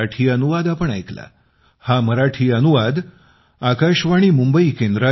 पिबमुंबई पिबमुंबई पिबमुंबई pibmumbaigmail